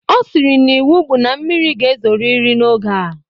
Ọ sịrị n'iwu bụ na mmiri ga-ezoriri n'oge a